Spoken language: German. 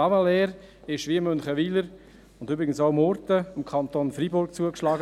Clavaleyres wurde, wie auch Münchenwiler und übrigens auch Murten, dem Kanton Freiburg zugeschlagen.